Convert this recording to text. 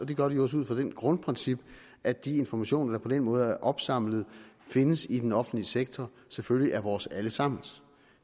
gør de også ud fra det grundprincip at de informationer der på den måde er opsamlet og findes i den offentlige sektor selvfølgelig er vores allesammens